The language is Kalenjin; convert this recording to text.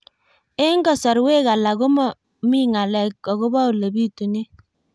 Eng' kasarwek alak ko mami ng'alek akopo ole pitunee